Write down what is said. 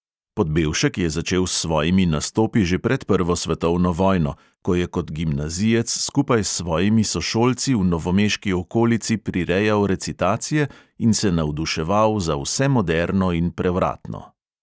Podbevšek je začel s svojimi nastopi že pred prvo svetovno vojno, ko je kot gimnazijec skupaj s svojimi sošolci v novomeški okolici prirejal recitacije in se navduševal za vse moderno in prevratno.